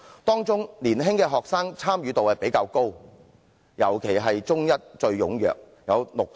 當中年青學生的參與度較高，尤其以中一學生最為踴躍，參與度達六成。